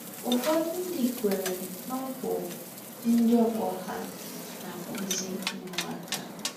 Ụfọdụ ndị kweere na ọ bụ ndị ọgbọ ha na-akpụzi ụmụaka.